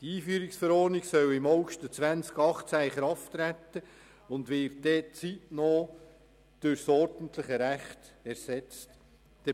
Die Einführungsverordnung soll im August 2018 in Kraft treten und wird zeitnah durch ordentliches Recht ersetzt werden.